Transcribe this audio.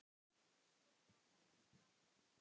Svo taka þær fram úr.